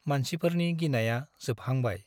मानसिफोरनि गिनाया जोबहांबाय ।